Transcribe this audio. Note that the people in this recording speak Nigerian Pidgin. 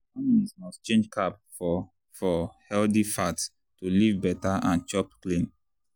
families must change carb for for healthy fat to live better and chop clean.